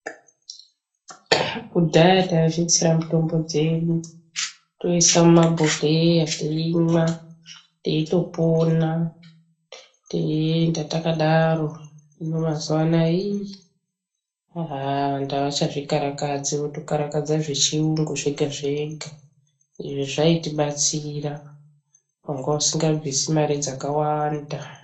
Kudhaya taizvitsira mutombo dzedu toise mumagwegweya teimwa teitopona teienda takadaro jino mazuwa anaya hii haha vantu avachazvikarakadzi votokarakadze zvechiyungu zvega zvega izvo zvaitibatsira wanga usingabvisi mare dzakawanda.